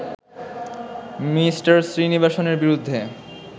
me শ্রীনিবাসনের বিরুদ্ধে